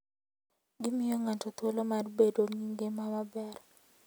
Gimiyo ng'ato thuolo mar bedo gi ngima maber.